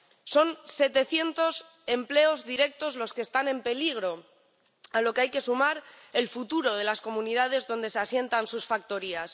Son setecientos empleos directos los que están en peligro, a los que hay que sumar el futuro de las comunidades donde se asientan sus factorías.